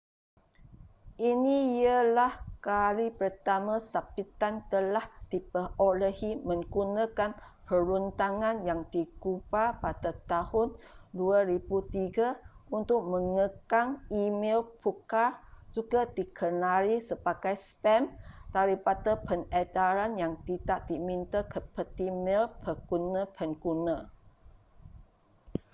ini ialah kali pertama sabitan telah diperolehi menggunakan perundangan yang digubal pada tahun 2003 untuk mengekang e-mel pukal juga dikenali sebagai spam daripada pengedaran yang tidak diminta ke peti mel pengguna-pengguna